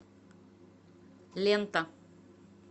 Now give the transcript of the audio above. лента